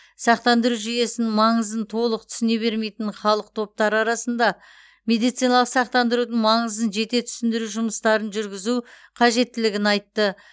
сақтандыру жүйесінің маңызын толық түсіне бермейтін халық топтары арасында медициналық сақтандырудың маңызын жете түсіндіру жұмыстарын жүргізу қажеттілігін айтты